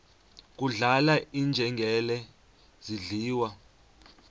kudlala iinjengele zidliwa